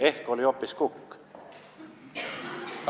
Ehk oli hoopis kukk?